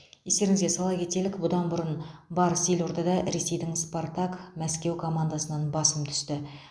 естеріңізге сала кетелік бұдан бұрын барыс елордада ресейдің спартак мәскеу командасынан басым түсті